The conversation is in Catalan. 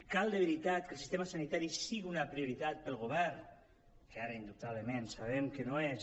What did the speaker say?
cal de veritat que el sistema sanitari sigui una prioritat per al govern que ara indubtablement sabem que no ho és